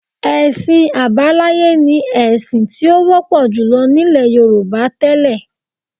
Ẹ̀sìn àbáláyé ni ẹ̀sìn tí ó wọ́pọ̀ jùlọ nílẹ̀ Yorùbá tẹ́lẹ̀